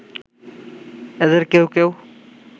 এদের কেউ কেউ